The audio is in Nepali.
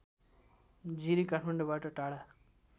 जिरी काठमाडौँबाट टाढा